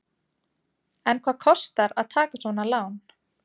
En hvað kostar að taka svona lán?